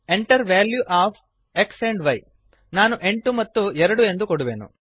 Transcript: Enter value of x and y ನಾನು 8 ಮತ್ತು 2 ಎಂದು ಕೊಡುವೆನು